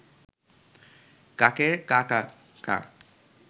কাকের কা কা কা